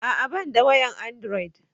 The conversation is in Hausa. A'a ban da wayan androd